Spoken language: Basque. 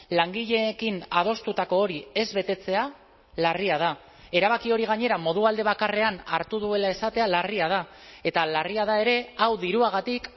langileekin adostutako hori ez betetzea larria da erabaki hori gainera modu alde bakarrean hartu duela esatea larria da eta larria da ere hau diruagatik